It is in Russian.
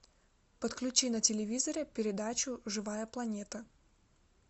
подключи на телевизоре передачу живая планета